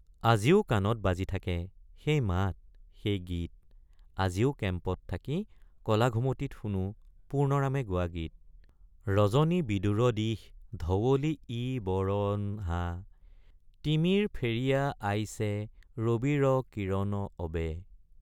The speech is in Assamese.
আজিও কাণত বাজি আছে সেই মাত সেই গীত আজিও কেম্পত থাকি কলাঘুমটিত শুনো পূৰ্ণৰামে গোৱা গীত—ৰজনী বিদুৰ দিশ ধৱলী ইইই বৰঅঅণ হাঁ তিমিৰ ফেৰিইইয়া আইছে ৰবিৰ অঅ কিৰণ অবে।